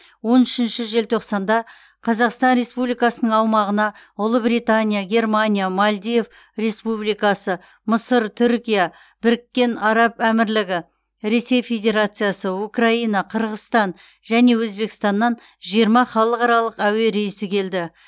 он үшінші желтоқсанда қазақстан республикасының аумағына ұлыбритания германия мальдив республикасы мысыр түркия біріккен араб әмірлігі ресей федерациясы украина қырғызстан және өзбекстаннан жиырма халықаралық әуе рейсі келді